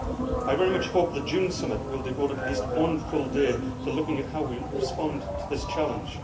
I very much hope the June Summit will devote at least one full day to looking at how we respond to this challenge.